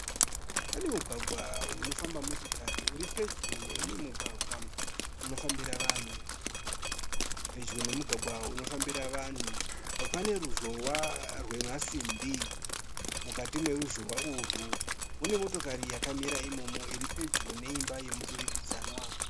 Pane mugwagwa unofamba motokari uripedyo neumwe mugwagwa unofambira vanhu. Pedyo nemugwagwa unofambira vanhu pane ruzhowa rwemasimbi. Mukati meruzhowa urwu mune motokari yakamirira imomo iri pedyo neimba yemudurikidzanwa.